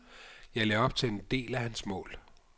Jeg lagde op til en del af hans mål.